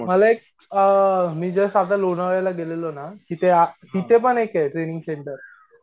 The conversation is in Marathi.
मला एक अअ मी जस्ट आता लोणावळ्याला गेलेलो ना तिथे आ तिथे पण एके ट्रैनिंग सेन्टर